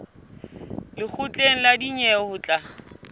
lekgotleng la dinyewe ho tla